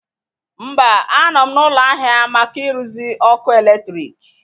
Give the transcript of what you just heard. Mba, a nọ m n'ụlọ ahịa maka ịrụzi ọkụ eletrik